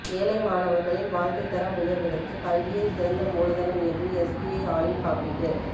ஏழை மாணவர்களின் வாழ்க்கை தரம் உயர்வதற்கு கல்வியே சிறந்த மூலதனம் என்று எஸ்பிஐ ஆயுள் காப்பீட்டு